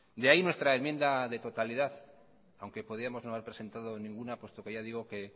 de ahí nuestra enmienda de totalidad aunque podíamos no haber presentado ninguna puesto que ya digo que